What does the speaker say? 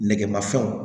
Nɛgɛmafɛnw